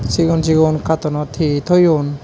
sigon sigon katoonot he toyon.